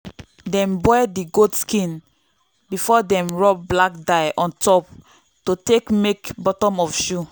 dem boil the goat skin before dem rub black dye on top to take make bottom of shoe